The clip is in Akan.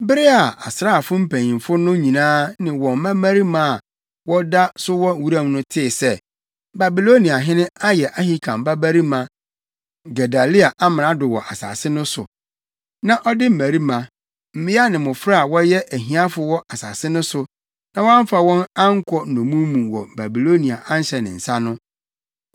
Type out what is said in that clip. Bere a asraafo mpanyimfo no nyinaa ne wɔn mmarima a wɔda so wɔ wuram no tee sɛ, Babiloniahene ayɛ Ahikam babarima Gedalia amrado wɔ asase no so, na ɔde mmarima, mmea ne mmofra a wɔyɛ ahiafo wɔ asase no so, na wɔamfa wɔn ankɔ nnommum mu wɔ Babilonia ahyɛ ne nsa no,